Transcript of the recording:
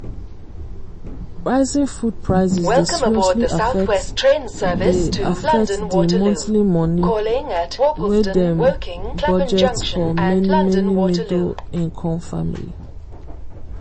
rising food prices dey seriously affect di affect di monthly money wy dem budget for many many middle-income family.